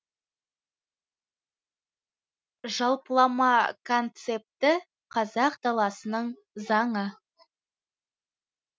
жалпылама концепті қазақ даласының заңы